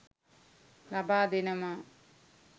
ලබා දෙනවා.